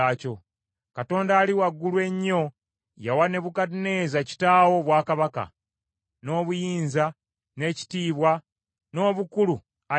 “Katonda Ali Waggulu Ennyo yawa Nebukadduneeza kitaawo obwakabaka, n’obuyinza, n’ekitiibwa n’obukulu, ayi kabaka;